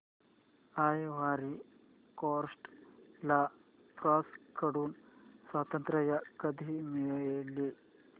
ivory Coast ला France कडून स्वातंत्र्य कधी मिळाले